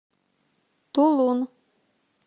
тулун